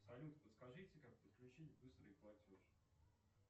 салют подскажите как подключить быстрый платеж